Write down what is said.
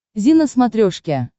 зи на смотрешке